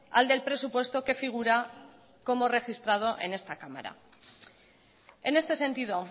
al del presupuesto que figura como registrado en esta cámara en este sentido